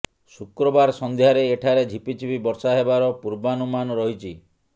ଶୁକ୍ରବାର ସଂଧ୍ୟରେ ଏଠାରେ ଝିପି ଝିପି ବର୍ଷା ହେବାର ପୂର୍ବାନୁମାନ ରହିଛି